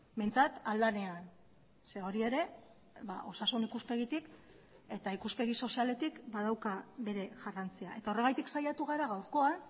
behintzat ahal denean zeren hori ere osasun ikuspegitik eta ikuspegi sozialetik badauka bere garrantzia eta horregatik saiatu gara gaurkoan